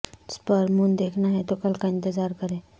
super moon دیکھنا ہے تو کل کا انتظار کریں